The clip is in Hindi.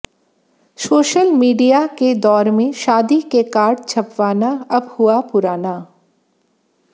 सोशल मीडिया के दौर में शादी के कार्ड छपवाना अब हुआ पुराना